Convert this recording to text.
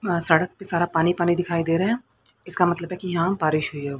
अ सड़क पे सारा पानी पानी दिखाई दे रहा है इसका मतलब है यहां बारिश हुई हो--